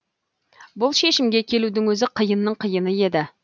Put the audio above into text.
бұл шешімге келудің өзі қиынның қиыны еді